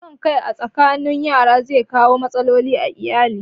Son kai a tsakanin yara zai kawo matsaloli a ayali